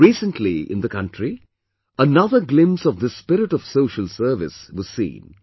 Recently, in the country, another glimpse of this spirit of social service was seen